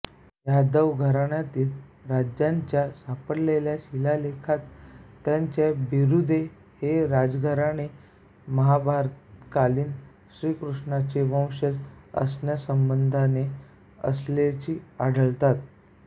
यादव घराण्यातील राजांच्या सापडलेल्या शिलालेखात त्यांची बिरूदे हे राजघराणे महाभारतकालीन श्रीकृष्णांचे वंशज असण्यासंबंधाने असल्याची आढळतात